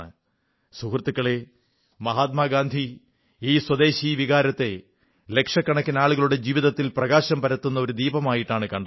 സുഹൃത്തുക്കളേ മഹാത്മാ ഗാന്ധി ഈ സ്വദേശി വികാരത്തെ ലക്ഷക്കണക്കിന് ആളുകളുടെ ജീവിതത്തിൽ പ്രകാശം പരത്തുന്ന ഒരു ദീപമായിട്ടാണ് കണ്ടത്